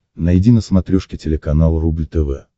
найди на смотрешке телеканал рубль тв